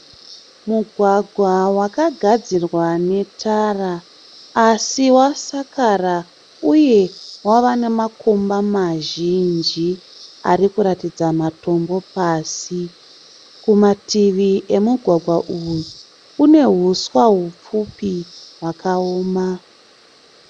Mugwagwa wakagadzirwa netara asi wasakara uye wava nemakomba mazhinji arikuratidza matombo pasi. Kumativi emugwagwa uyu kune huswa hupfupi hwakaoma.